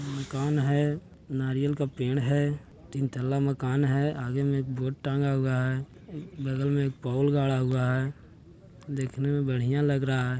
कौन है नारियल का पेड़ है तीन थला मकान है आगे में एक बोर्ड टांगा हुआ है बगल मे एक पोल गाड़ा हुआ है देखने में बढ़िया लग रहा है ।